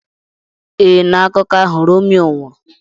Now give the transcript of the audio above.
Ee, na akụkọ ahụ Romeo nwụrụ.